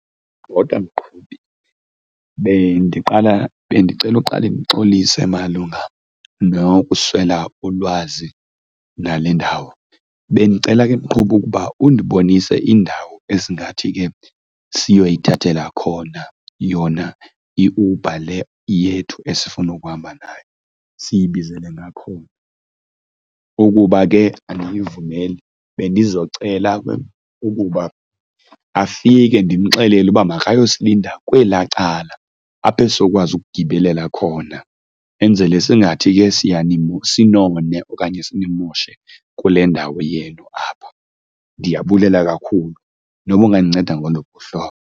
Bhota mqhubi, bendiqala bendicela uqale ndixolise malunga nokuswela ulwazi nale ndawo. Bendicela ke mqhubi ukuba u ndibonise indawo ezingathi ke siyoyithathela khona yona iUber le yethu esifuna ukuhamba ngayo, siyibizele ngakhona. Ukuba ke aniyivumeli bendizocela ke ukuba afike ndimxelele ukuba makayosilinda kwelaa cala apho esizokwazi ukugibelela khona, enzele singathi ke sinone okanye simoshe kule ndawo yenu apha. Ndiyabulela kakhulu noba ungandinceda ngoluphi uhlobo.